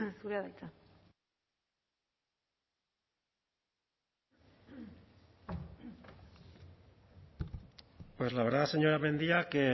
zurea da hitza pues la verdad señora mendia que